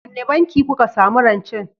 Wanne banki kuka samu rancen?